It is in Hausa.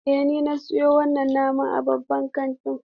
Eh, na siyo wannan naman ne a babban kantin.